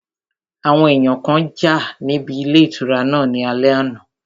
Àwọn èèyàn kan jà níbi ilé ìtura náà ní alẹ́ àná